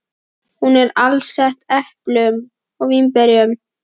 Hún er alsett eplum og vínberjum.